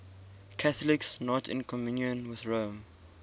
catholics not in communion with rome